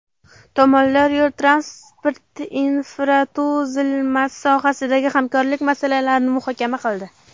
Tomonlar yo‘l-transport infratuzilmasi sohasidagi hamkorlik masalalarini muhokama qildi.